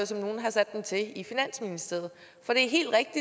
som nogle har sat dem til i finansministeriet for det